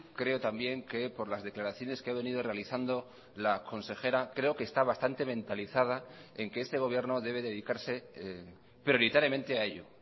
creo también que por las declaraciones que ha venido realizando la consejera creo que está bastante mentalizada en que este gobierno debe dedicarse prioritariamente a ello